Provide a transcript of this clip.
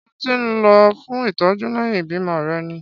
Ṣé ó ti lọ fún ìtọ́jú lẹ́yìn ìbímọ rẹ̀ ni?